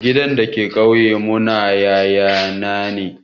Gidan da ke ƙauyen mu na yaya na ne